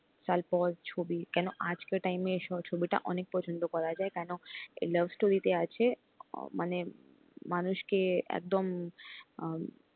সাল পর ছবি কেন আজকে time সহযোগিতা অনেক পছন্দ করা যায় কেনো love story তে আছে মানে মানুষ কে একদম